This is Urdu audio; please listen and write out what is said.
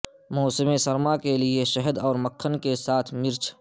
موسم سرما کے لئے شہد اور مکھن کے ساتھ مرچ